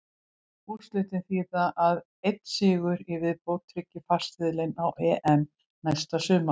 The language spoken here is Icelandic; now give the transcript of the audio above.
Úrslitin þýða að einn sigur í viðbót tryggir farseðilinn á EM næsta sumar.